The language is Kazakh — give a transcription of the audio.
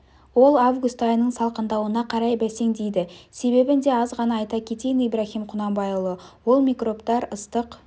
ол август айының салқындауына қарай бәсеңдейді себебін де азғана айта кетейін ибраһим құнанбайұлы ол микробтар ыстық